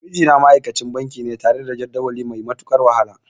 Mijina ma'aikacin banki ne tare da jadawali mai matuƙar wahala.